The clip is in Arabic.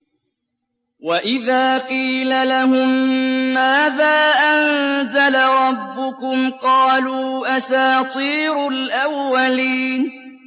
وَإِذَا قِيلَ لَهُم مَّاذَا أَنزَلَ رَبُّكُمْ ۙ قَالُوا أَسَاطِيرُ الْأَوَّلِينَ